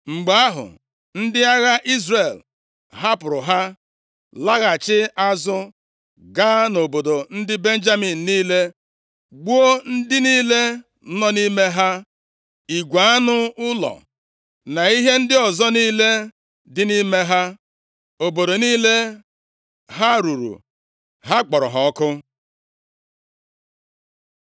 Mgbe ahụ, ndị agha Izrel hapụrụ ha, laghachi azụ, gaa nʼobodo ndị Benjamin niile gbuo ndị niile nọ nʼime ha, igwe anụ ụlọ, na ihe ndị ọzọ niile dị nʼime ha. Obodo niile ha ruru, ha kpọrọ ha ọkụ.